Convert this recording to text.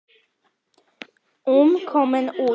um komin út.